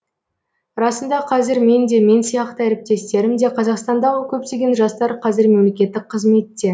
расында қазір мен де мен сияқты әріптестерім де қазақстандағы көптеген жастар қазір мемлекеттік қызметте